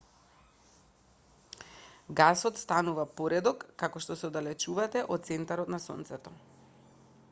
гасот станува поредок како што се оддалечувате од центарот на сонцето